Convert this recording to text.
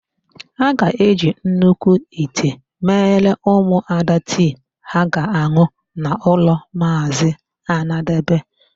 A ga-eji nnukwu ite mere ụmụada tii ha ga-an̄ụ n'ụlọ Maazị Anadebe.